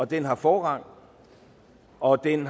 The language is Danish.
den har forrang og den